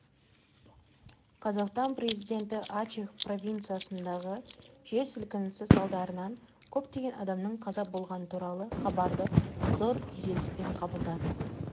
қазақстан президенті ачех провинциясындағы жер сілкінісі салдарынан көптеген адамның қаза болғаны туралы хабарды зор күйзеліспен қабылдады